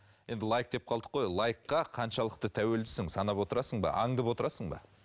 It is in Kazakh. енді лайк деп қалдық қой лайкқа қаншалықты тәуелдісің санап отырасың ба аңдып отырасың ба